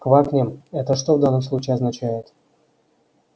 квакнем это что в данном случае означает